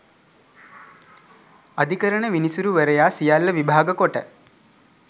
අධිකරණ විනිසුරුවරයා සියල්ල විභාග කොට